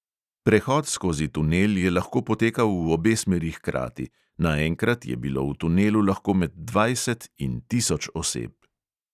Prehod skozi tunel je lahko potekal v obe smeri hkrati, naenkrat je bilo v tunelu lahko med dvajset in tisoč oseb.